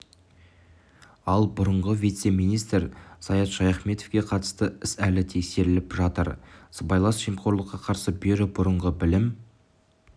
ал бұрынғы вице-министр саят шаяхметовке қатысты іс әлі тексеріліп жатыр сыбайлас жемқорлыққа қарсы бюро бұрынғы білім